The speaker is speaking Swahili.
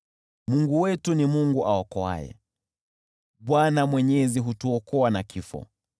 Mungu wetu ni Mungu aokoaye, Bwana Mwenyezi hutuokoa na kifo.